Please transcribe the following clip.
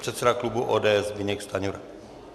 Předseda klubu ODS Zbyněk Stanjura.